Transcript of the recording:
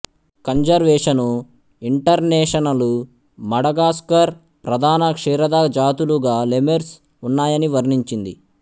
conservation international Madagascar ప్రధాన క్షీరద జాతులు గా లెమెర్సు ఉన్నాయని వర్ణించింది